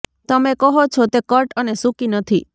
તમે કહો છો તે કટ અને સૂકી નથી